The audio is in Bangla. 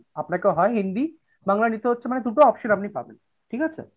আপনাকে হয় হিন্দি বাংলা নিতে হচ্ছে মানে দুটো option আপনি পাবেন, ঠিক আছে?